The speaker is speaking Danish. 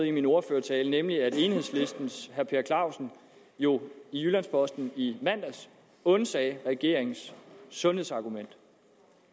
i min ordførertale nemlig at enhedslistens herre per clausen jo i jyllands posten i mandags undsagde regeringens sundhedsargument